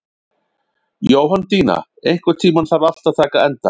Jóhanndína, einhvern tímann þarf allt að taka enda.